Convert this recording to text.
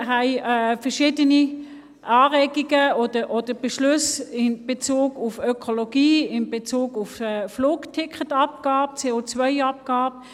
Wir haben verschiedene Anregungen oder Beschlüsse in Bezug auf Ökologie, Flugticketabgabe, COAbgabe.